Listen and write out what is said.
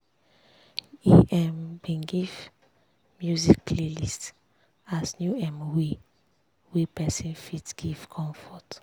e um bin give music playlist as new um way wey person fit give comfort.